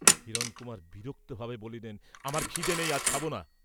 হিরণকুমার বিরক্তভাবে বলিলেন, আমার ক্ষিদে নেই, আজ খাব না।